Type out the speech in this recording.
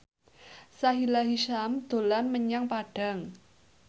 Sahila Hisyam dolan menyang Padang